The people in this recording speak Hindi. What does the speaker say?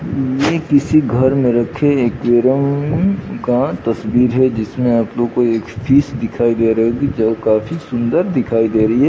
किसी घर में रखे का तस्वीर है जिसमे आप लोग को एक फिश दिखाई दे रही जो काफी सुन्दर दिखाई दे रही है।